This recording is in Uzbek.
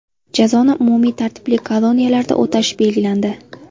Jazoni umumiy tartibli koloniyalarda o‘tashi belgilandi.